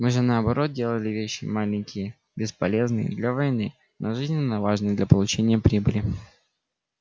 мы же наоборот делали вещи маленькие бесполезные для войны но жизненно важные для получения прибыли